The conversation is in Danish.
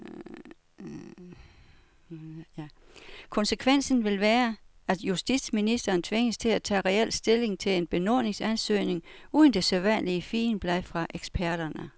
Konsekvensen vil være, at justitsministeren tvinges til at tage reel stilling til en benådningsansøgning uden det sædvanlige figenblad fra eksperterne.